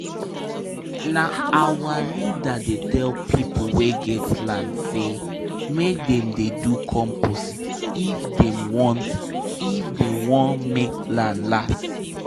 if um person clear land for early momo um the the land go um fit get plenty time gather water back before planting go begin